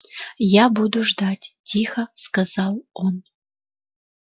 я буду ждать тихо сказал он